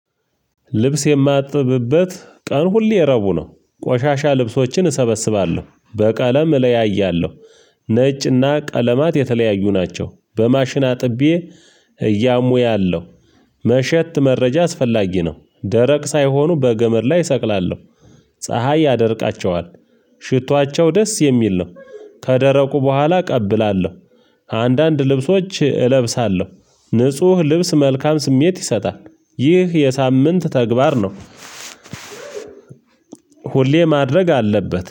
ልብስ የማጥብበት ቀን ሁሌ ረቡዕ ነው። ቆሻሻ ልብሶችን እሰበስባለሁ። በቀለም እለያያለሁ። ነጭና ቀለማት የተለያዩ ናቸው። በማሽን አጥቤ እያሙያለሁ መሸት መረጃ አስፈላጊ ነው። ደረቅ ሳይሆኑ በገመድ ላይ እሰቅላለሁ። ፀሀይ ያደርቃቸዋል። ሽቷቸው ደስ የሚል ነው። ከደረቁ በኋላ እቀብላለሁ። አንዳንድ ልብሶች እለብሳለሁ። ንጹህ ልብስ መልካም ስሜት ይሰጣል። ይህ የሳምንት ተግባር ነው። ሁሌ ማድረግ አለበት።